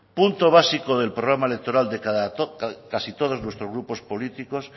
punto básico del programa electoral de casi todos nuestros grupos políticos